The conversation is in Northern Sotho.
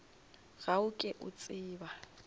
ga o ke o tseba